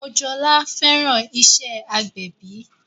Mojola fẹ́ràn iṣẹ́ agbẹ̀bí